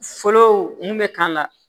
Fɔlɔ mun bɛ k'a la